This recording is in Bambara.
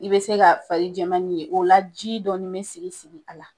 I be se ka fari jɛmannin ye. O la ji dɔɔni be sigi sigi a la.